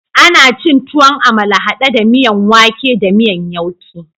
Ana cin tuwon amala hade da miyan wake da miyan yauke